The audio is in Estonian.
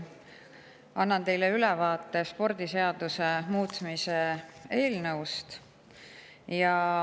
Annan teile ülevaate spordiseaduse muutmise seaduse eelnõust.